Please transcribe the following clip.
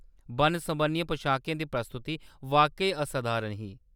बन्न-सबन्नियें पशाकें दी प्रस्तुति वाकई असधारण ही।